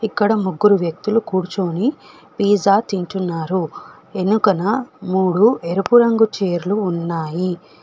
అక్కడ ముగ్గురు వ్యక్తులు కూర్చుని పిజ్జా తింటున్నారు ఎనుకునా మూడు ఎరుపు రంగు చైర్లు ఉన్నాయి.